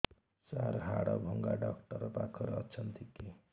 ସାର ହାଡଭଙ୍ଗା ଡକ୍ଟର ପାଖରେ ଅଛନ୍ତି କି